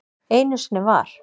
Einu sinni var.